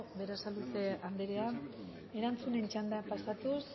berasaluze anderea erantzunen txandara pasatuz